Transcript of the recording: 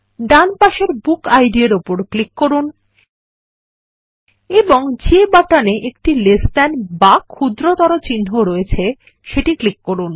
ডান দিকের BookId এর উপর ক্লিক করুন এবং যে বাটনে একটি লেস থান বা ক্ষুদ্রতর চিহ্ন রয়েছে সেটি ক্লিক করুন